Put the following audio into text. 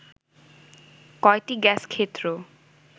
কয়টি গ্যাস ক্ষেত্র